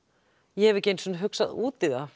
ég hef ekki einu sinni hugsað út í það